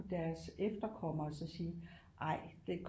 Deres efterkommere så sige ej det